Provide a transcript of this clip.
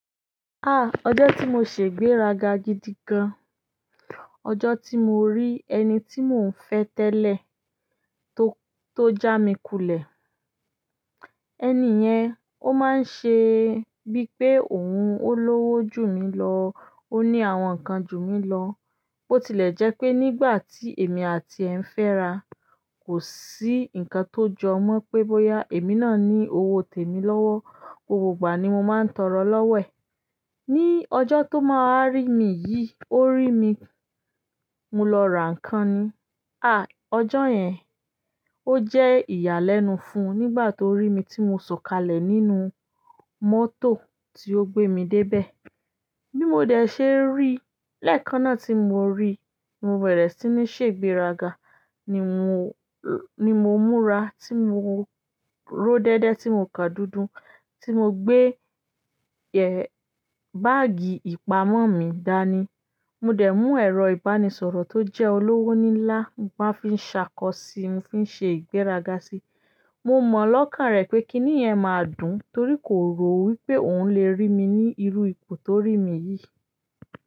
Ah! Ọjọ́ tí mo ṣè igbéraga gidi gan. Ọjọ́ tí mo rí ẹni tí mò ń fẹ́ tẹ́lẹ̀, tó, tó já mi kulẹ̀. Ẹni yẹn, ó máa ń ṣe bíi pé òun ó lówó jù mí lọ, ó ní àwọn nǹkan jù mí lọ. Bó tilẹ̀ jẹ́ pé nígbà tí èmi àtiẹ̀ ń fẹ́ra, kò sí nǹkan tó jọ mọ́ pé bóyá èmi náà ní owó tèmi lọ́wọ́. Òpò gbà ní mo máa ń tọrọ lọ́wo ẹ̀. Ni ọjọ́ tó máa rí mi yìí, ó rí mi mo lọ ra nǹkan ni. Ah! Ọjọ́ yẹn, ó jẹ́ ìyàlẹ́nu fún nígbà tó rí mi tí mo sọ̀kalẹ̀ nínú mọ́tò tí ó gbé mi dé ibẹ̀. Bí mo dẹ̀ ṣe rí, lẹ́ẹ̀kan náà tí mo rí, mo bẹ̀rẹ̀ sí ní ṣègbéraga. Ni mò, ni mo múra, tí mo ró dédé, tí mo kàn dúdú, tí mo gbé, ẹ́, báágì ìpamọ́ mi dáa ni. Mo dẹ̀ mú ẹ̀rọ ìbánisọ̀rọ̀ tó jẹ́ olówó nílá máa fi ṣàkọ sí i, mo fi ṣe ìgbéraga sí i. Mo mọ lọ́kàn rẹ pé kíni yẹn máa dùn torí kò rò wí pé òun lè rí mi ní irú ipò tó rí mi yìí.